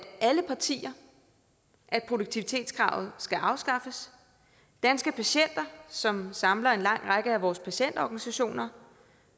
alle partier at produktivitetskravet skal afskaffes danske patienter som samler en lang række af vores patientorganisationer